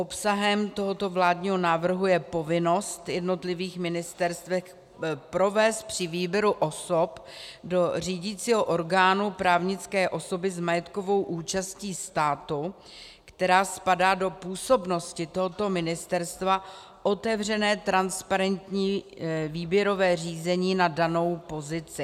Obsahem tohoto vládního návrhu je povinnost jednotlivých ministerstev provést při výběru osob do řídícího orgánu právnické osoby s majetkovou účastí státu, která spadá do působnosti tohoto ministerstva, otevřené, transparentní výběrové řízení na danou pozici.